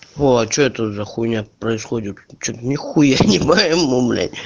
а что это за хуйня происходит что-то нехуя не пайму блять